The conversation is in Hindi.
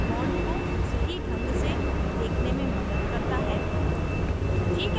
यह bond को सही ढंग से देखने में मदद करता है